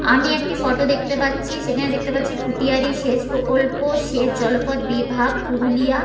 আমি একটি ফটো দেখতে পাচ্ছি সেখানে দেখতে পাচ্ছি ফুটিয়ারি সেচ প্রকল্প সেচ জলপথ বিভাগ পুরুলিয়া ।